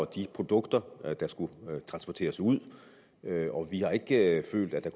de produkter der skulle transporteres ud vi har ikke følt at